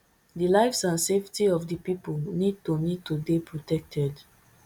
di lives and safety of di pipo need to need to dey protected